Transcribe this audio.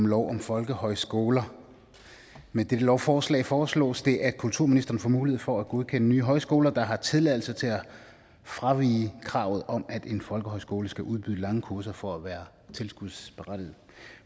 lov om folkehøjskoler med dette lovforslag foreslås det at kulturministeren får mulighed for at godkende nye højskoler der har tilladelse til at fravige kravet om at en folkehøjskole skal udbyde lange kurser for at være tilskudsberettiget